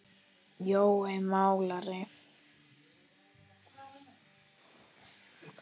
Jói málari